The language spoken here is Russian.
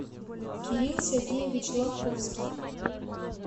кирилл сергеевич ловковский